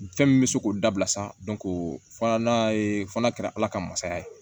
Fɛn min bɛ se k'o dabila sisan fɔla n'a ye fana kɛra ala ka masaya ye